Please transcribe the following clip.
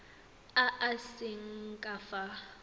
a a seng ka fa